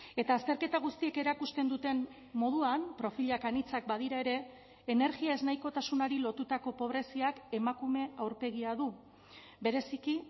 eta azterketa guztiek erakusten duten moduan profilak anitzak badira ere energia ez nahikotasunari lotutako pobreziak emakume aurpegia du bereziki